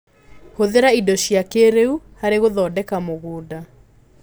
Hũthĩra indo cia kĩrĩũ harĩ gũthondeka mũgũnda.